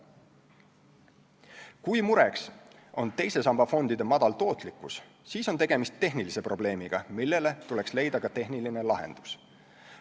Kui mureks on teise samba fondide madal tootlikkus, siis on tegemist tehnilise probleemiga, millele tuleks leida ka tehniline lahendus.